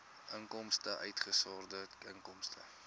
inkomste uitgesonderd inkomste